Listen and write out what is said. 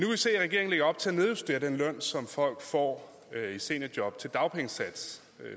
se at regeringen lægger op til at nedjustere den løn som folk får i seniorjob til dagpengesatsen